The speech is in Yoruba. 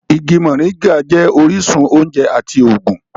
Igi moringa jẹ́ orísun oúnjẹ àti ògùn